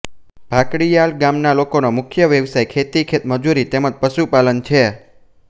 ભાકડીયાલ ગામના લોકોનો મુખ્ય વ્યવસાય ખેતી ખેતમજૂરી તેમ જ પશુપાલન છે